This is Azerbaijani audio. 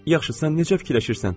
Yaxşı, sən necə fikirləşirsən?